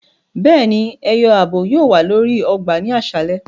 Béèni, ẹyọ ààbò yóò wa lórí ọgbà ni aṣalẹ